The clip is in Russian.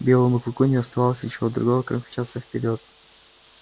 белому клыку не оставалось ничего другого как мчаться вперёд